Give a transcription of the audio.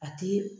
A ti